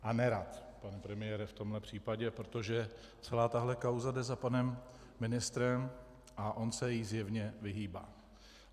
A nerad, pane premiére, v tomhle případě, protože celá tahle kauza jde za panem ministrem a on se jí zjevně vyhýbá.